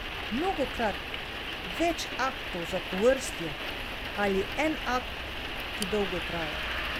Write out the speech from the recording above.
Mnogokrat več aktov zapovrstjo ali en akt, ki dolgo traja?